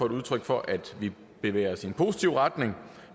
et udtryk for at vi bevæger os i en positiv retning